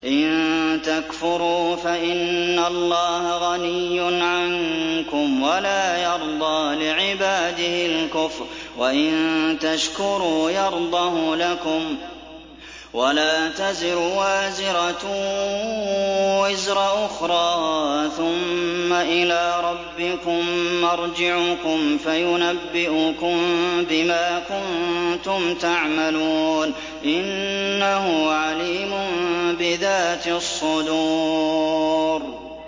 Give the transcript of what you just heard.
إِن تَكْفُرُوا فَإِنَّ اللَّهَ غَنِيٌّ عَنكُمْ ۖ وَلَا يَرْضَىٰ لِعِبَادِهِ الْكُفْرَ ۖ وَإِن تَشْكُرُوا يَرْضَهُ لَكُمْ ۗ وَلَا تَزِرُ وَازِرَةٌ وِزْرَ أُخْرَىٰ ۗ ثُمَّ إِلَىٰ رَبِّكُم مَّرْجِعُكُمْ فَيُنَبِّئُكُم بِمَا كُنتُمْ تَعْمَلُونَ ۚ إِنَّهُ عَلِيمٌ بِذَاتِ الصُّدُورِ